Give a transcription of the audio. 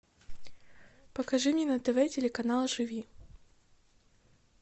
покажи мне на тв телеканал живи